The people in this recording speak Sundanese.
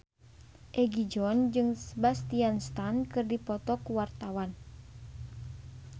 Egi John jeung Sebastian Stan keur dipoto ku wartawan